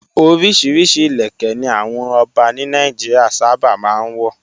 Oríṣiríṣi ìlẹ̀kẹ́ ni àwọn ọba ní Nàìjíríà sábà máa ń wọ̀.